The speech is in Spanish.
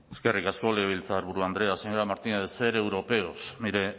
eskerrik asko legebiltzarburu andrea señora martínez ser europeos mire